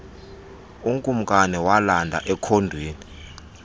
ukumkani walanda ekhondweni